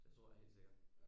Det tror jeg helt sikkert